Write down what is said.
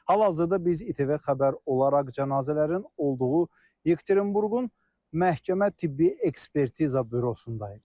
Hal-hazırda biz İTV Xəbər olaraq cənazələrin olduğu Yekaterinburqun məhkəmə tibbi ekspertiza bürosundayıq.